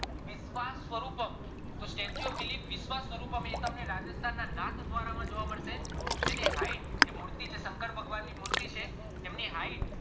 વિશ્વાસ સ્વરૂપક તો statue of belief એ તમને રાજસ્થાન ના નાથદ્વારા માં જોવા મળશે જેની hight મૂર્તિ છે શંકર ભગવાન ની મૂર્તિ છે એની hight